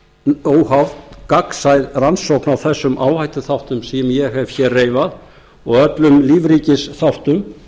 fram óháð gagnsæ rannsókn á þessum áhættuþáttum sem ég hef hér reifað og öllum lífríkisþáttum